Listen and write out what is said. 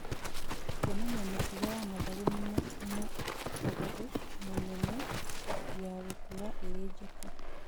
Kwonania mĩtugo ya mathangũ mũnene ya gũkũra ĩrĩ njeke